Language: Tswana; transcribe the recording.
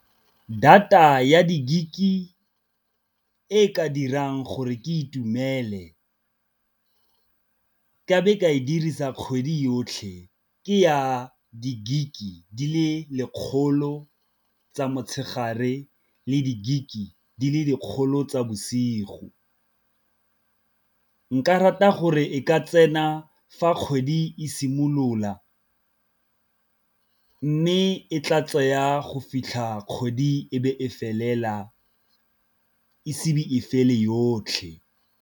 Data ya di-gig e e ka dirang gore ke itumele ka be ke e dirisa kgwedi yotlhe, ke ya di-gig-e di le lekgolo tsa motshegare le di gig e di le dikgolo tsa bosigo. Nka nka rata gore e ka tsena fa kgwedi e simolola, mme e tla tsaya go fitlha kgwedi e be e felela esi be e fele yotlhe.